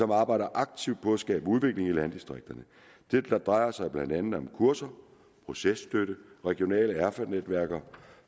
arbejder aktivt på at skabe udvikling i landdistrikterne det drejer sig blandt andet om kurser processtøtte og regionale erfanetværker